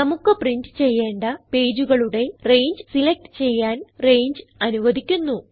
നമുക്ക് പ്രിന്റ് ചെയ്യേണ്ട പേജുകളുടെ രംഗെ സിലക്റ്റ് ചെയ്യാൻ രംഗെ അനുവധിക്കുന്നു